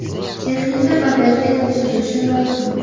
Texnika bagajga topshirilishi lozim.